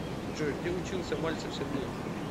джой где учился мальцев сергей